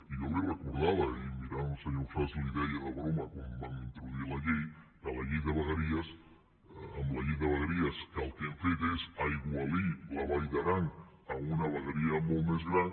i jo li ho recordava i mirant el senyor ausàs li ho deia de broma quan van introduir la llei que la llei de vegueries amb la llei de vegueries el que han fet és aigualir la vall d’aran en una vegueria molt més gran